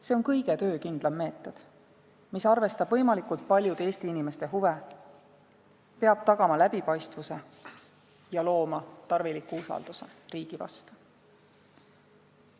See on kõige töökindlam meetod, mis arvestab võimalikult paljude Eesti inimeste huve, peab tagama läbipaistvuse ja looma tarviliku usalduse riigi vastu.